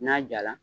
N'a jala